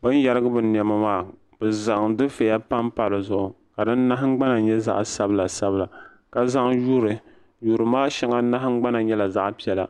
bin yarigi bɛ nɛma maa bɛ zaŋ difiɛya pampa di zuɣu ka di naɣigbana nye zaɣsabila sabila ka zaŋ yuri yuri maa shɛŋa nahangban nyela zaɣpiɛla.